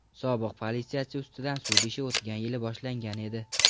Sobiq politsiyachi ustidan sud ishi o‘tgan yili boshlangan edi.